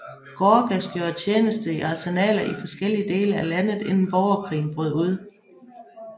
Gorgas gjorde tjenester i arsenaler i forskellige dele af landet inden borgerkrigen brød ud